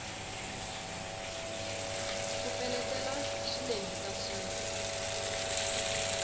ku peletela swi lehisa swilo